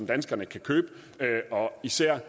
danskerne kan købe og især